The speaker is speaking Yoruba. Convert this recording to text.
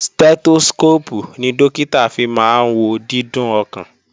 Stẹ́tóskóópù ni Dókítà fi máa wo dídún ọkàn